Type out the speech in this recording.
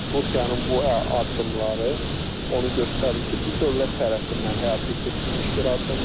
Rusiyanın bu addımları onu göstərir ki, bu dövlət tərəfindən həyata keçirilmiş bir addımdır.